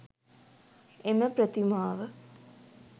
එම ප්‍රතිමාව